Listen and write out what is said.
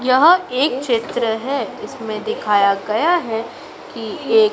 यह एक चित्र है इसमें दिखाया गया है कि एक--